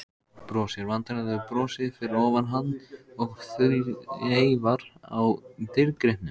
Brosir vandræðalegu brosi fyrir ofan hann og þreifar á dýrgripnum.